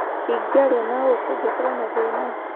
Ingĩaria na ũ kũngĩkorũo na thĩĩna?